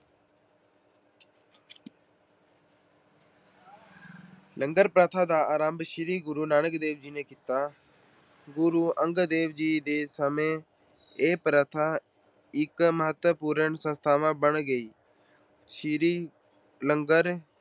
ਲੰਗਰ ਪ੍ਰਥਾ ਦਾ ਆਰੰਭ ਸ਼੍ਰੀ ਗੁਰੂ ਨਾਨਕ ਦੇਵ ਜੀ ਨੇ ਕੀਤਾ। ਸ਼੍ਰੀ ਗੁਰੂ ਅੰਗਦ ਦੇਵ ਜੀ ਦੇ ਸਮੇਂ ਇਹ ਪ੍ਰਥਾ ਇੱਕ ਮਹੱਤਵਪੂਰਨ ਸੰਸਥਾ ਬਣ ਗਈ। ਸ਼੍ਰੀ ਲੰਗਰ